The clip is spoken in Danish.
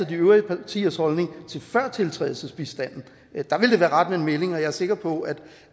de øvrige partiers holdning til førtiltrædelsesbistanden er der ville det være rart med en melding og jeg er sikker på